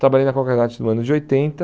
Trabalhei na Concremat no ano de oitenta.